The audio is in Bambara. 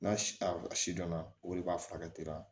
N'a a si dɔnna olu b'a furakɛ